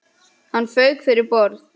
Hann fauk fyrir borð.